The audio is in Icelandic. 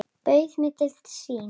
Bauð mér til sín.